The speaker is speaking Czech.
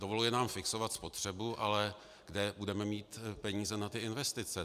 Dovoluje nám fixovat spotřebu, ale kde budeme mít peníze na ty investice?